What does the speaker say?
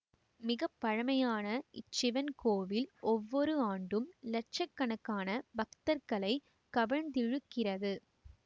மிக பழமையான இச்சிவன் கோவில் ஒவ்வொரு ஆண்டும் லட்ச கணக்கான பக்தர்களை கவர்ந்திழுக்கிறது